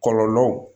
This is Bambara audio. Kɔlɔlɔ